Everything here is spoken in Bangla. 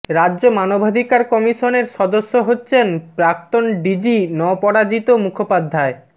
রাজ্য মানবাধিকার কমিশনের সদস্য হচ্ছেন প্রাক্তন ডিজি নপরাজিত মুখোপাধ্যায়